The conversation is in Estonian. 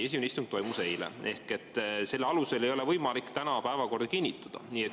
Esimene istung toimus eile ja selle ei ole võimalik täna päevakorda kinnitada.